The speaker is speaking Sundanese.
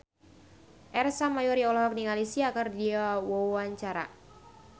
Ersa Mayori olohok ningali Sia keur diwawancara